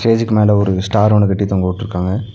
ஸ்டேஜ்க்கு மேல ஒரு ஸ்டார் ஒன்னு கட்டி தொங்கவுட்ருக்காங்க.